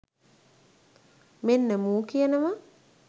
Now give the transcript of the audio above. මෙන්න මූ කියනව